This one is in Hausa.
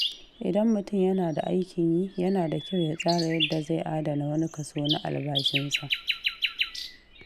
Idan mutum yana da aikin yi, yana da kyau ya tsara yadda zai adana wani kaso na albashinsa.